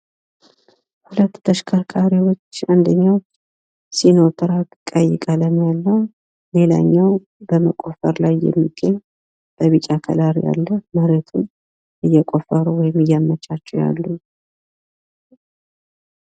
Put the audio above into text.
በምስሉ ላይ ሁለት መኪናዎች የሚታዩ ሲሆን አንደኛው ቀይ ቀለም ያለው ሲኖትራክ መኪና ሲሆን ሌላኛው ደግሞ ቢጫ ቀለም ያለው በመቆፈር ላይ ያለ ነው። መሬቱን በማስተካከል ላይ ናቸው ።